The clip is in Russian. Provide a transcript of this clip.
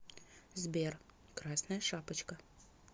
сбер красная шапочка